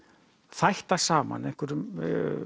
þætta saman einhverjum